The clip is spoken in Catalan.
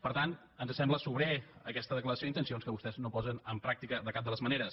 per tant ens sembla sobrera aquesta declaració d’intencions que vostès no posen en pràctica de cap de les maneres